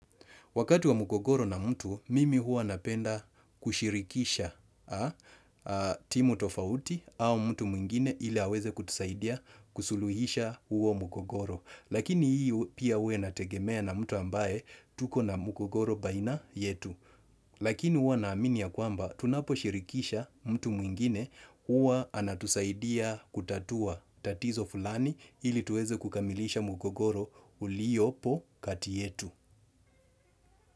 Wakati wa mgogoro na mtu, mimi huwa napenda kushirikisha timu tofauti au mtu mwingine ili aweze kutusaidia kusuluhisha huo mgogoro. Lakini hii pia huwa inategemea na mtu ambaye tuko na mgogoro baina yetu. Lakini huwa naamin ya kwamba tunaposhirikisha mtu mwingine huwa anatusaidia kutatua tatizo fulani ili tuweze kukamilisha mgogoro uliopo kati yetu.